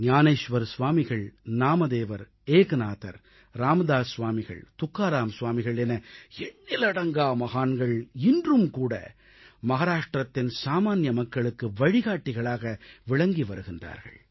ஞானேஷ்வர் ஸ்வாமிகள் நாமதேவர் ஏக்நாதர் ராமதாஸ் ஸ்வாமிகள் துக்காராம் ஸ்வாமிகள் என எண்ணிலடங்கா மகான்கள் இன்றும் மகாராஷ்ட்ரத்தின் சாமான்ய மக்களுக்கு வழிகாட்டிகளாக விளங்கி வருகின்றார்கள்